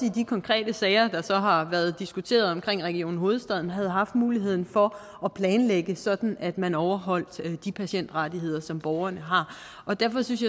i de konkrete sager der har været diskuteret omkring region hovedstaden muligheden for at planlægge det sådan at man overholdt de patientrettigheder som borgerne har derfor synes